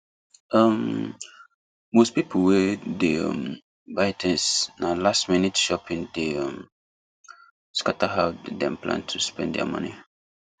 um most people wey dey um buy things na lastminute shopping dey um scatter how dem plan to spend their money